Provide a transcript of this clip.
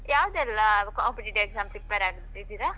ಯಾವದೆಲ್ಲಾ competitive exam prepare ಆಗ್ತಾ ಇದ್ದೀರ?